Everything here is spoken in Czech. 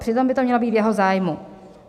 Přitom by to mělo být v jeho zájmu.